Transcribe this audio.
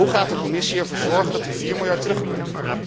Hoe gaat de Commissie ervoor zorgen dat die vier miljard terugkomt?